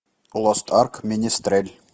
лост арк менестрель